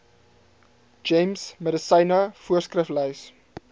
gems medisyne voorskriflys